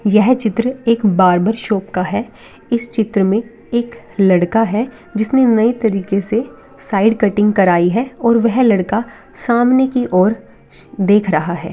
यह चित्र एक बार्बर शॉप का है इस चित्र में एक लड़का है जिसने नए तरीके से साइड कटिंग कराई है और वह लड़का सामने की ओर देख रहा है।